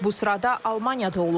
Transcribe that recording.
Bu sırada Almaniya da olub.